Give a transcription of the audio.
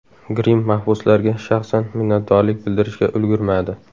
Grimm mahbuslarga shaxsan minnatdorlik bildirishga ulgurmadi.